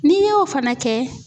N'i y'o fana kɛ